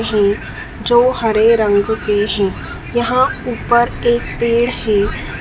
ये जो हरे रंग के हैं यहां ऊपर एक पेड़ है।